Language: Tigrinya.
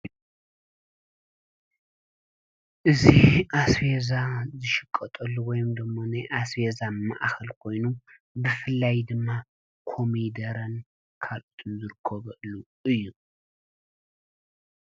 እዚ አስቤዛ ዝሽቀጠሉ ወይ ድማ አስቤዛ ማእከል ኮይኑ ብፍላይ ድማ ኮሚደረን ካልኦት ዝርከቦ ባታ እዩ።